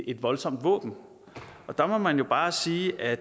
et voldsomt våben og der må man jo bare sige at